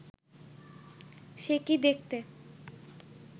সে কি দেখতে